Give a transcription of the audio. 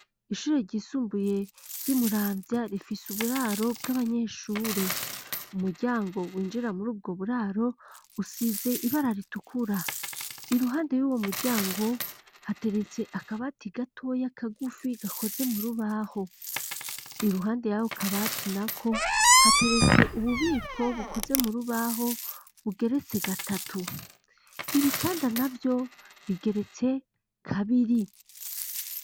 Ishure ryisumbuye ry'i Muramvya, rifise uburaro bw'abanyeshure, umuryango winjira mur'ubwo buraro, usize ibara ritukura, iruhande y'uwo muryango hateretse akabati gatoya kagufi gakoze murubaho, iruhande y'ako kabati nako hateretse ububiko bukoze mu rubaho bugeretse gatatu, ibitanda navyo bigeretse kabiri.